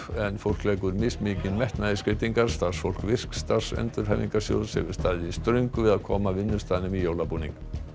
en fólk leggur mismikinn metnað í skreytingar starfsfólk virk starfsendurhæfingarsjóðs hefur staðið í ströngu við að koma vinnustaðnum í jólabúning